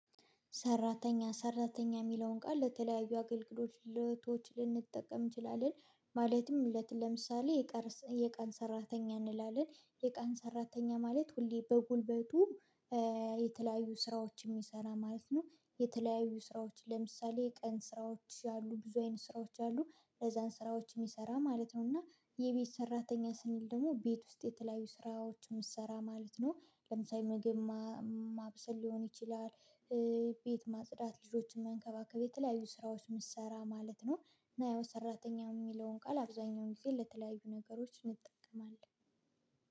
ሰራተኛ ሰራተኛ የሚለውን ቃል ለተለያዩ አገልግሎቶች ልንጠቀም እንችላለን። ማለትም ለት ለምሳሌ የቀን ሰራተኛ እንላለን የቀን ሰራተኛ ማለት ሁሌ በጉልበቱ የተለያዩ ስራዎች የሚሰራ ማለት ነው። የተለያዩ ስራዎች ለምሳሌ ቀን ስራዎች ያሉ ብዙ አይነት ስራዎች አሉ አነዛን ስራዎች የሚሰራ ማለት ነው። እና የቤት ሰራተኛ ስንል ደግሞ ቤት ውስጥ የተለያዩ ስራዎች የምሰራ ማለት ነው። ለምሳሌ ምግብ ማብሰል ሊሆን ይችላል ቤት ማጽዳት ልጆችን መንከባከብ የተለያዩ ስራዎች ምሰራ ማለት ነው። እና ያው ሰራተኛ የሚለውን ቃል አብዛኛውን ጊዜ ለተለያዩ ነገሮች እንጠቀማለን